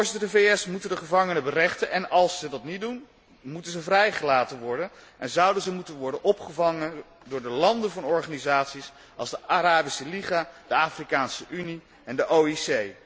De VS moeten de gevangenen berechten en als zij dat niet doen, moeten zij vrijgelaten worden en zouden zij moeten worden opgevangen door de landen van organisaties, zoals de Arabische Liga, de Afrikaanse Unie en de OIC.